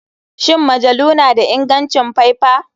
Shin majalu na da ingancin faifa?